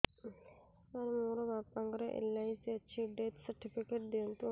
ସାର ମୋର ବାପା ଙ୍କର ଏଲ.ଆଇ.ସି ଅଛି ଡେଥ ସର୍ଟିଫିକେଟ ଦିଅନ୍ତୁ